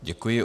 Děkuji.